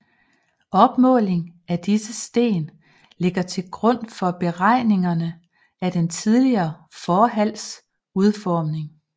Opmåling af disse sten ligger til grund for beregningerne af den tidligere forhals udformning